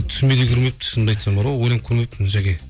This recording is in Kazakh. түсіме де кірмепті шынымды айтсам бар ғой ойланып көрмеппін жаке